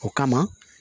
O kama